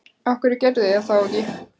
Af hverju gerðuð þið það ekki þá?